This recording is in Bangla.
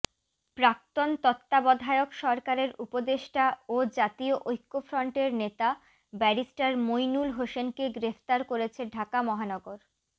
প্রাক্তন তত্ত্বাবধায়ক সরকারের উপদেষ্টা ও জাতীয় ঐক্যফ্রন্টের নেতা ব্যারিস্টার মইনুল হোসেনকে গ্রেফতার করেছে ঢাকা মহানগর